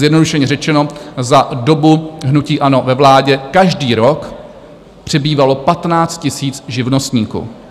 Zjednodušeně řečeno, za dobu hnutí ANO ve vládě každý rok přibývalo 15 000 živnostníků.